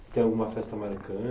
Se tem alguma festa